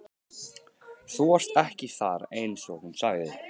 Þú varst ekki þar einsog hún sagði.